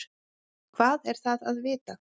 Hvað er það að vita?